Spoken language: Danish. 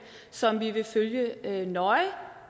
som vi vil følge nøje